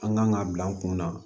An kan ka bila an kun na